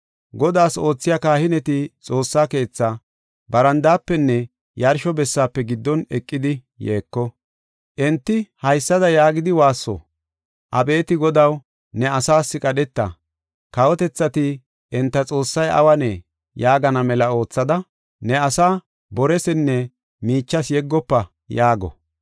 Godaas oothiya kahineti Xoossaa keethaa barandaafenne yarsho bessaafe giddon eqidi yeeko. Enti haysada yaagidi woosso; “Abeeti Godaw, ne asaas qadheta; kawotethati, ‘Enta Xoossay awunee? yaagana mela oothada, ne asaa boresinne miichas yeggofa’ ” yaago.